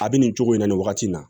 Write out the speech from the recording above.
A bɛ nin cogo in na nin wagati in na